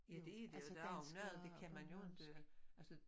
Ja det er det der er noget det kan man jo ikke altså